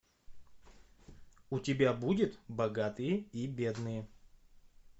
у тебя будет богатые и бедные